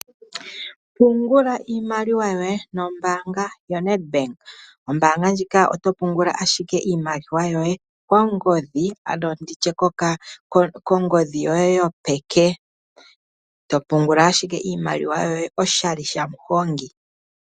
Pungula iimaliwa yoye nombaanga yoNet bank, ombaanga ndjika oto pungula ashike iimaliwa yoye kongodhi ano nditye kongodhi yoye yopeke, to pungula ashike iimaliwa yoye oshali shamuhongi.